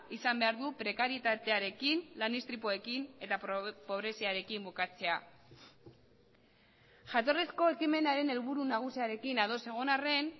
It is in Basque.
izan behar du prekarietatearekin lan istripuekin eta pobreziarekin bukatzea jatorrizko ekimenaren helburu nagusiarekin ados egon arren